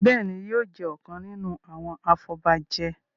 Béèni yóò jé ọkàn nínú àwọn afobaje.